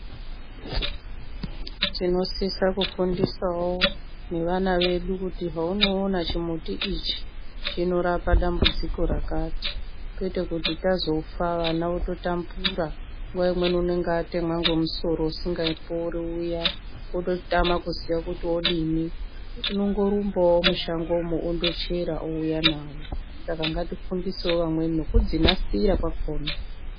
Tinosisa kufundisawo nevana vedu kuti heunoona chumuti ichi chinorapa dambudziko rakati kwete kuti tazofa vana vototambura nguwa imweni unenge watemwa nemusoro usingapori uya ototama kuziya kuti odini, unongorumbawo mushango mo ondochera ouya nawo. Saka ngatifundisewo vamweni nekudzinasira.